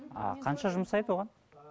а қанша жұмсайды оған